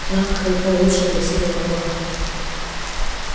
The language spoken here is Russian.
навка и получше бы себе могла